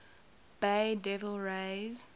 bay devil rays